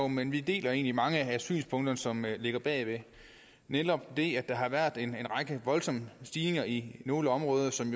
men vi deler egentlig mange af synspunkterne som ligger bag nemlig netop det at der har været en række voldsomme stigninger i nogle områder som